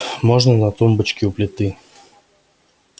можно на тумбочке у плиты